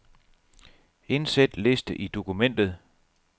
Indsæt liste i dokumentet.